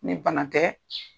Ni bana tɛ